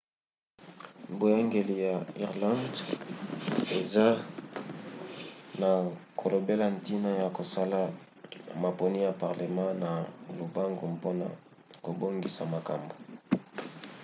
boyangeli ya irlande eza na kolobela ntina ya kosala maponi ya parlema na lombango mpona kobongisa makambo